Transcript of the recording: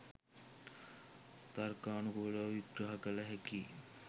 තර්කානුකූලව විග්‍රහ කල හැකියි.